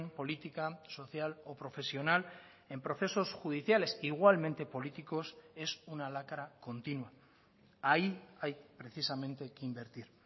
política social o profesional en procesos judiciales igualmente políticos es una lacra continua ahí hay precisamente que invertir